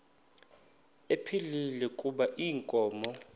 ephilile kuba inkomo